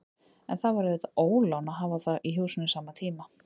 En það var auðvitað ólán að hafa þá í húsinu samtímis.